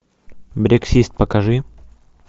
брексит покажи